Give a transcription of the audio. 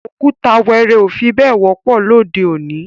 Ọ̀kùtà wẹẹrẹ́ o fi bẹ̀ẹ̀ wọ̀pọ̀ lọdẹ́ ọ̀ní.